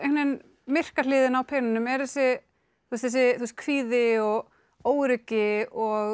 myrka hliðin á peningnum er þessi þessi kvíði og óöryggi og